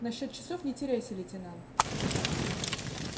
на счёт часов не теряйся лейтенант